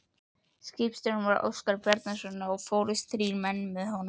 Skipstjóri var Óskar Bjarnason og fórust þrír menn með honum.